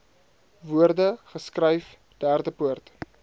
woorde geskryf derdepoort